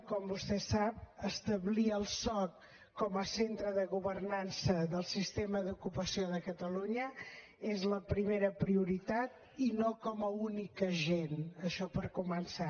com vostè sap establir el soc com a centre de governança del sistema d’ocupació de catalunya és la primera prioritat i no com a únic agent això per començar